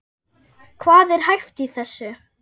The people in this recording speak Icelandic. Hvað er hæft í þessu?